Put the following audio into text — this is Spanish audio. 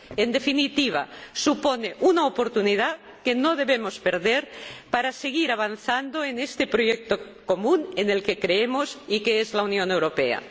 En definitiva, supone una oportunidad que no debemos perder para seguir avanzando en este proyecto común en el que creemos y que es la Unión Europea.